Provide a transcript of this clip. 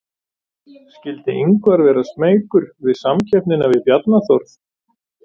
Skyldi Ingvar vera smeykur við samkeppnina við Bjarna Þórð?